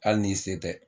Hali ni se tɛ